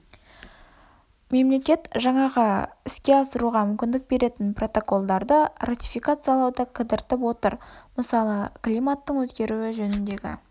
мемлекет жаңағы іске асыруға мүмкіндік беретін протоколдарды ратификациялауды кідіртіп отыр мысалы климаттың өзгеруі жөніндегі